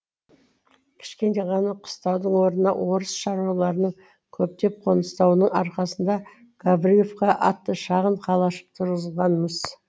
кішкене ғана қыстаудың орнына орыс шаруаларының көптеп қоныстануының арқасында гавриловка атты шағын қалашық тұрғызылған мыс